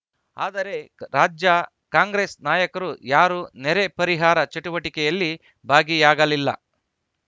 ಆದರೆ ರಾಜ್ಯ ಕಾಂಗ್ರೆಸ್‌ ನಾಯಕರು ಯಾರೂ ನೆರೆ ಪರಿಹಾರ ಚಟುವಟಿಕೆಯಲ್ಲಿ ಭಾಗಿಯಾಗಲಿಲ್ಲ